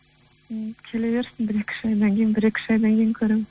ммм келе берсін бір екі үш айдан кейін бір екі үш айдан кейін көремін